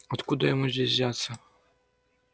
откуда ему здесь взяться